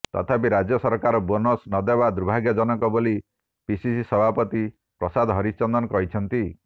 ତଥାପି ରାଜ୍ୟ ସରକାର ବୋନସ୍ ନଦେବା ଦୁର୍ଭାଗ୍ୟଜନକ ବୋଲି ପିସିସି ସଭାପତି ପ୍ରସାଦ ହରିଚନ୍ଦନ କହିଛନ୍ତି